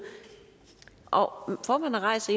og formanden rejser